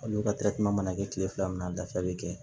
Olu ka ma kɛ kile fila min na a dafa bɛ kɛ